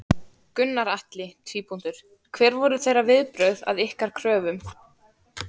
Gunnar Atli: Hver voru þeirra viðbrögð við ykkar kröfum?